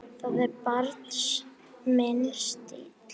Það er bara minn stíll.